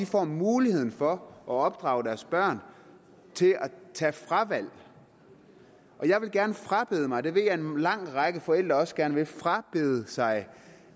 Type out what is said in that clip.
får muligheden for at opdrage deres børn til at tage fravalg jeg vil gerne frabede mig og det ved jeg at en lang række forældre også gerne vil frabede sig